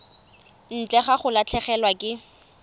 ntle ga go latlhegelwa ke